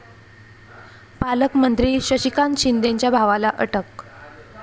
पालकमंत्री शशिकांत शिंदेंच्या भावाला अटक